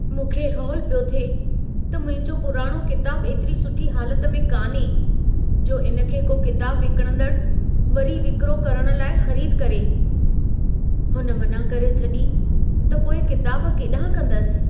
मूंखे हौल पियो थिए त मुंहिंजो पुराणो किताबु एतिरी सुठी हालत में कान्हे, जो इन खे को किताब विकणंदड़ु वरी विक्रो करण लाइ ख़रीदु करे। हुन मना करे छॾी त पोइ किताब केॾाहिं कंदसि।